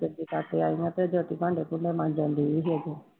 ਰੋਟੀ ਖਾ ਕੇ ਆਇਆ ਮੈਂ ਕਿਹਾ ਜੋਤੀ ਭਾਂਡੇ ਭੂੰਡੇ ਮਾਂਜਣਡੀ